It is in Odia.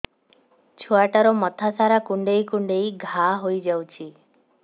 ଛୁଆଟାର ମଥା ସାରା କୁଂଡେଇ କୁଂଡେଇ ଘାଆ ହୋଇ ଯାଇଛି